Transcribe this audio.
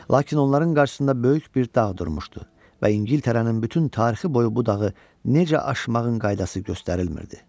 Lakin onların qarşısında böyük bir dağ durmuşdu və İngiltərənin bütün tarixi boyu bu dağı necə aşmağın qaydası göstərilmirdi.